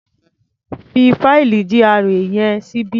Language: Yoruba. Fi fáìlì GRA yẹn síbí.